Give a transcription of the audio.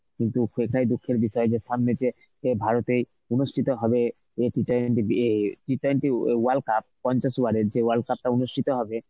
কিন্তু এইটাই দুঃখের বিষয় যে সামনে যে সে ভারতেই অনুষ্ঠিত হবে এ T twenty ইয়ে T twenty owa~ world cup পঞ্চাশ over এর যে world cup টা অনুষ্ঠিত হবে